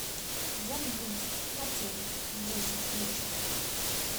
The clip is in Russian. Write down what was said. замьютить на телике в десять вечера